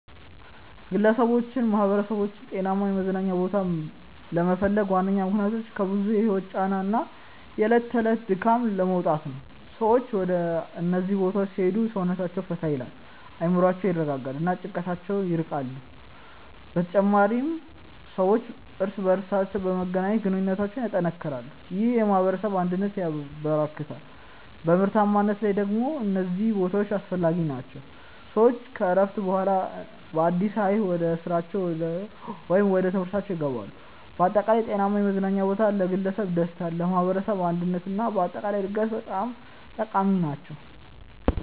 ግለሰቦችና ማኅበረሰቦች ጤናማ የመዝናኛ ቦታዎችን ለመፈለግ ዋነኛ ምክንያቶች ከብዙ የህይወት ጫና እና የዕለት ተዕለት ድካም ለመውጣት ነው። ሰዎች ወደ እነዚህ ቦታዎች ሲሄዱ ሰውነታቸውን ፈታ ይላል፣ አእምሮአቸውን ያረጋጋሉ እና ከጭንቀት ይርቃሉ። በተጨማሪም ሰዎች እርስ በርስ በመገናኘት ግንኙነታቸውን ያጠናክራሉ፣ ይህም የማኅበረሰብ አንድነትን ያበረክታል። በምርታማነት ላይ ደግሞ እነዚህ ቦታዎች አስፈላጊ ናቸው፤ ሰዎች ከእረፍት በኋላ በአዲስ ኃይል ወደ ስራቸው ወይም ወደ ትምህርታችው ይገባሉ። በአጠቃላይ ጤናማ የመዝናኛ ቦታዎች ለግለሰብ ደስታ፣ ለማኅበረሰብ አንድነት እና ለአጠቃላይ እድገት በጣም ጠቃሚ ናቸው።